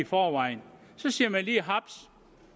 forvejen så siger man lige haps